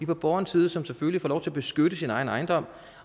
på borgerens side som selvfølgelig får lov til at beskytte sin egen ejendom